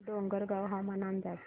डोंगरगाव हवामान अंदाज